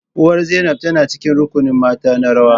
Uwar Zainab tana cikin rukunin mata na rawa